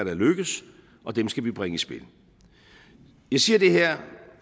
er lykkedes og dem skal vi bringe i spil jeg siger det her